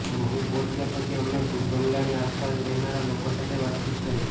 મહુ પહોંચ્યા પછી અમે ભૂતબંગલાની આસપાસ રહેનારા લોકો સાથે વાતચીત કરી